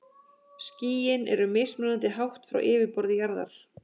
Skýin eru mismunandi hátt frá yfirborði jarðar.